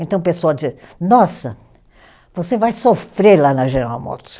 Então o pessoal dizia, nossa, você vai sofrer lá na General Motors.